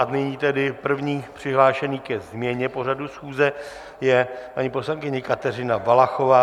A nyní tedy první přihlášený ke změně pořadu schůze je paní poslankyně Kateřina Valachová.